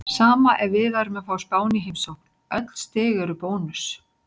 Sama ef við værum að fá Spán í heimsókn, öll stig eru bónus.